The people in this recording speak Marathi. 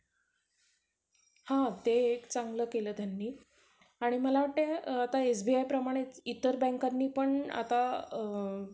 त्याचातई phone तो पण चांगला आहे. तो पण brand चांगला आहे. त्याच्यात आता बघा आता जो नवीन phone येतात. त्याचाच automaticrecording होत नाही आणि जर manually करतो म्हटलं. तर समोरचाला आवाज जाते कि,